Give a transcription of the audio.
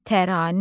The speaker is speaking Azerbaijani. Təranə.